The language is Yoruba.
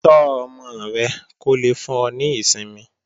Tọ́ ọmọ rẹ kó lè fún ọ ní ìsinmi